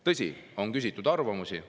Tõsi, on küsitud arvamusi.